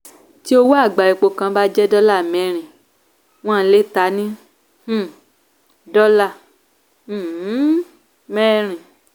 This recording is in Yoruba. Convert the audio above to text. tí owó agba epo kan bá jẹ́ dola mẹ́rin wọn lé tá ni um dola um mẹ́rin.